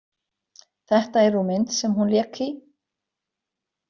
Þetta er úr mynd sem hún lék í.